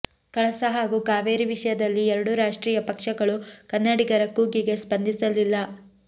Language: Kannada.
ಕಳಸ ಹಾಗು ಕಾವೇರಿ ವಿಷಯದಲ್ಲಿ ಎರಡೂ ರಾಷ್ಟ್ರೀಯ ಪಕ್ಷಗಳು ಕನ್ನಡಿಗರ ಕೂಗಿಗೆ ಸ್ಪಂದಿಸಲಿಲ್ಲ